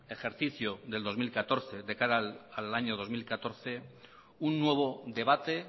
ejercicio del dos mil catorce de cara al año dos mil catorce un nuevo debate